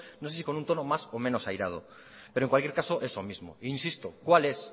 no sé si con un tono más o menos airado pero en cualquier caso eso mismo insisto cuál es